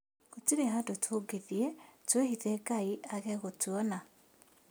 Gũtirĩ handũ tũngĩthiĩ twĩhithe Ngai aage gũtuona